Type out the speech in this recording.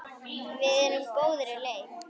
Við erum á góðri leið.